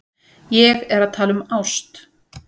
Ég er að tala um ást.